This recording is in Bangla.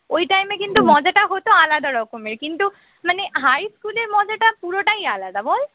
ওই time এ মজাটা হত আলাদা রকমের কিন্তু মানে high স্কুলের মজাটা পুরোটাই আলাদা বল